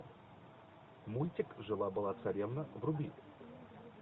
мультик жила была царевна вруби